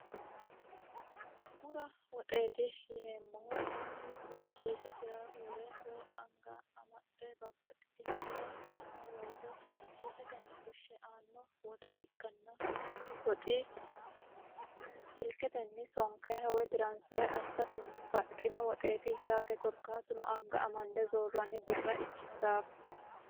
Bura woxeeti yineemmohu mannu woyi kiisesira wore woyi angasira amade babbaxitino hira hidhano woyiite kiisesira anga wore haare aannoho yaate kuni woxi silketenni tiransifere assa didandiinanniho yaate.